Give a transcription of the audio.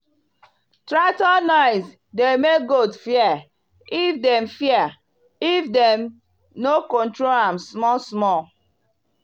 tractor noise dey make goat fear if dem fear if dem no control am small small.